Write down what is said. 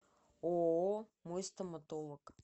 ооо мой стоматолог